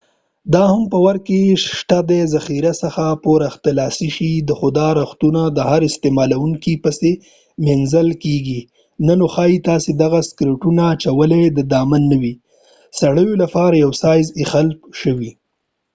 دا هم په ور کې شته ذخیرې څخه پور اخستلای شي خو دا رختونه د هر استعمالوونکي پسې مینځل کیږي نه نو ښايي تاسې دغه سکرټونو اچولو سره ډاډمن نه وئ سړیو لپاره یو سایز اېښل شوی